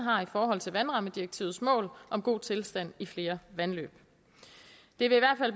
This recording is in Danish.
i forhold til vandrammedirektivets mål om god tilstand i flere vandløb det vil